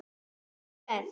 Ertu spennt?